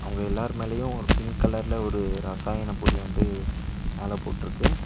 அவங்க எல்லாரு மேலேயு ஒரு பிங்க் கலர்ல ஒரு ரசாயன பொடி வந்து மேல போட்ருக்கு.